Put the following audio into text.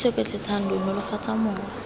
itshoke tlhe thando nolofatsa mowa